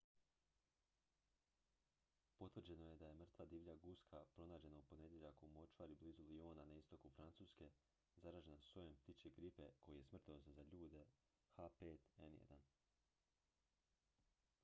potvrđeno je da je mrtva divlja guska pronađena u ponedjeljak u močvari blizu lyona na istoku francuske zaražena sojem ptičje gripe koji je smrtonosan za ljude h5n1